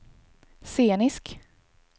scenisk